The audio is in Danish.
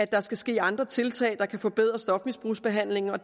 der skal ske andre tiltag der kan forbedre stofmisbrugsbehandlingen